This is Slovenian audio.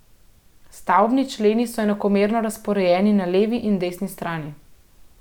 Stavbni členi so enakomerno razporejeni na levi in desni strani.